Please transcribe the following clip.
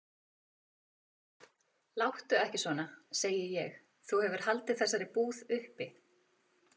Láttu ekki svona, segi ég, þú hefur haldið þessari búð uppi.